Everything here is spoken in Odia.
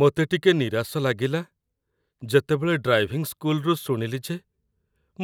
ମୋତେ ଟିକେ ନିରାଶ ଲାଗିଲା, ଯେତେବେଳେ ଡ୍ରାଇଭିଂ ସ୍କୁଲରୁ ଶୁଣିଲି ଯେ